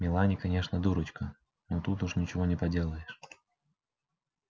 мелани конечно дурочка но тут уж ничего не поделаешь